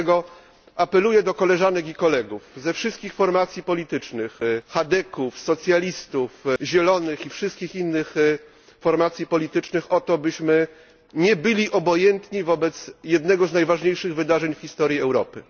Dlatego apeluję do koleżanek i kolegów ze wszystkich formacji politycznych chadeków, socjalistów, zielonych i wszystkich innych formacji politycznych o to, byśmy nie byli obojętni wobec jednego z najważniejszych wydarzeń w historii Europy.